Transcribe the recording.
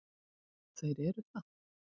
Og þeir eru það.